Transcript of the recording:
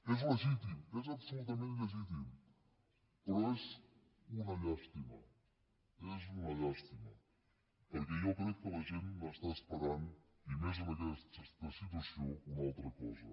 és legítim és absolutament legítim però és una llàstima és una llàstima perquè jo crec que la gent n’està esperant i més en aquesta situació una altra cosa